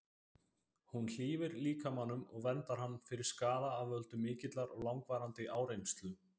Hún hlífir líkamanum og verndar hann fyrir skaða af völdum mikillar og langvarandi áreynslu.